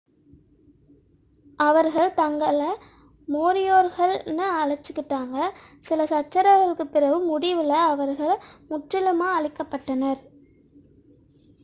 அவர்கள் தங்களை மோரியோரிக்கள் என்று அழைத்துக் கொண்டனர் சில சச்சரவுகளுக்குப் பிறகு முடிவில் அவர்கள் முற்றிலுமாக அழிக்கப் பட்டனர்